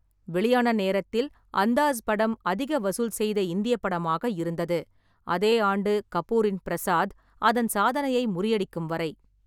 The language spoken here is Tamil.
வெளியான நேரத்தில், 'அந்தாஸ்' படம் அதிக வசூல் செய்த இந்திய படமாக இருந்தது, அதே ஆண்டு கபூரின் 'ப்ரசாத்' அதன் சாதனையை முறியடிக்கும் வரை.